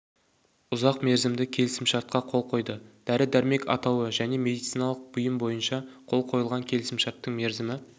ұзақ мерзімді келісімшартқа қол қойды дәрі-дәрмек атауы және медициналық бұйым бойынша қол қойылған келісімшарттың мерзімі